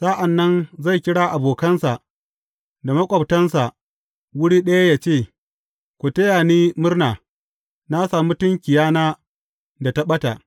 Sa’an nan zai kira abokansa da maƙwabtansa wuri ɗaya ya ce, Ku taya ni murna, na sami tunkiyana da ta ɓata.’